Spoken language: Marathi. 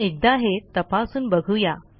एकदा हे तपासून बघू या